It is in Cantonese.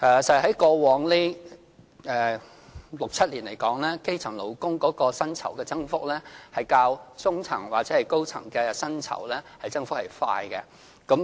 在過往這六七年，基層勞工薪酬的增長較中層或高層的薪酬增長為快。